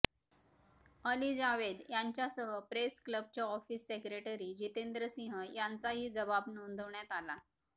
अली जावेद यांच्यासह प्रेस क्लबचे office secretary Jitendra Singh यांचाही जबाब नोंदवण्यात आला